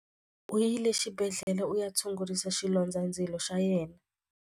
U yile exibedhlele ku ya tshungurisa xilondzandzilo xa yena.